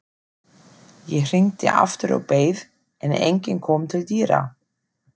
Ég hringdi aftur og beið, en enginn kom til dyra.